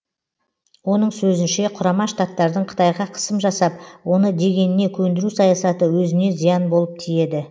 оның сөзінше құрама штаттардың қытайға қысым жасап оны дегеніне көндіру саясаты өзіне зиян болып тиеді